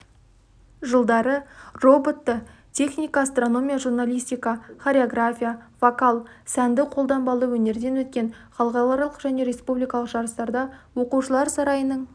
жылдары роботты техника астрономия журналистика хореография вокал сәнді-қолданбалы өнерден өткен халықаралық және республикалық жарыстарда оқушылар сарайының